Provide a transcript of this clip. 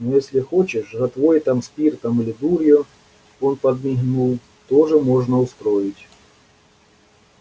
но если хочешь жратвой там спиртом или дурью он подмигнул тоже можно устроить